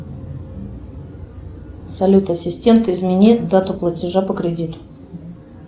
салют ассистент измени дату платежа по кредиту